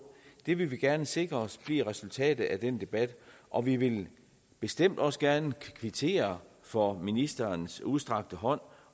det vil vi gerne sikre os bliver resultatet af den debat og vi vil bestemt også gerne kvittere for ministerens udstrakte hånd